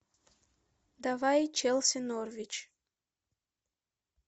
давай челси норвич